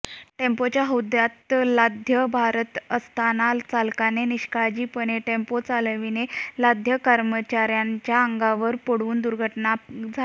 टेम्पोच्या हौद्यात लाद्या भरत असताना चालकाने निष्काळजीपणाने टेम्पो चालवल्याने लाद्या कामगारांच्या अंगावर पडून दुर्घटना झाली